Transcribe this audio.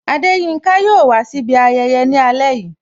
Adeyinka yo wà si ibi ayẹyẹ ni ale yìí